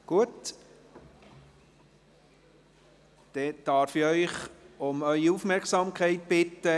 Ich darf Sie um Ihre Aufmerksamkeit bitten.